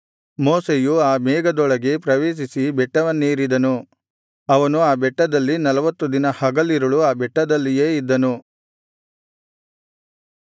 ಮೋಶೆಯು ಆ ಮೇಘದೊಳಗೆ ಪ್ರವೇಶಿಸಿ ಬೆಟ್ಟವನ್ನೇರಿದನು ಅವನು ಆ ಬೆಟ್ಟದಲ್ಲಿ ನಲ್ವತ್ತು ದಿನ ಹಗಲಿರುಳು ಆ ಬೆಟ್ಟದಲ್ಲಿಯೇ ಇದ್ದನು